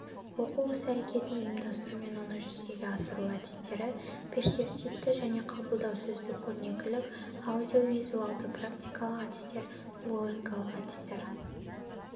оқу іс-әрекетін ұйымдастыру мен оны жүзеге асыру әдістері перцептивті мен қабылдау сөздік көрнекілік аудиовизуалды практикалық әдістер логикалық әдістер